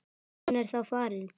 Hún er þá farin.